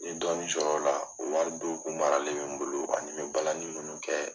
N ye dɔɔnni sɔrɔ o la o wari dɔ kun maralen bɛ n bolo ani balani me munnu kɛ.